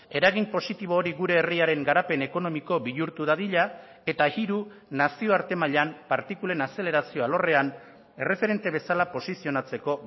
eragin positibo hori gure herriaren garapen ekonomiko bihurtu dadila eta hiru nazioarte mailan partikulen azelerazio alorrean erreferente bezala posizionatzeko